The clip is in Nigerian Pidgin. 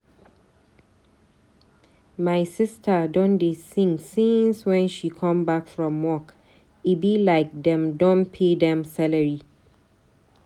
My sista don dey sing since wen she come back from work. E be like dem don pay dem salary.